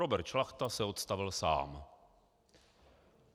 Robert Šlachta se odstavil sám.